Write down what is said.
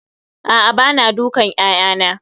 A'a bana dukan 'ya'yana